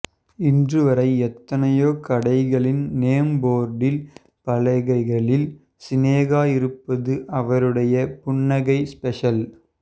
இன்று வரை எத்தனையோ கடைகளில் நேம் போர்டு பலகைகளில் சினேகா இருப்பது அவருடைய புன்னகை ஸ்பெஷல்